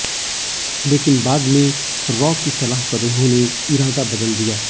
लेकिन बाद में रॉ की सलाह पर उन्होंने इरादा बदल दिया